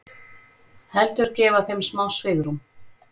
Heldur gefa þeim smá svigrúm.